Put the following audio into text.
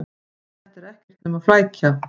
Þetta er ekkert nema flækja.